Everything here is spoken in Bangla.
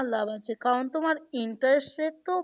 তোমার লাভ আছে কারণ তোমার interest rate তো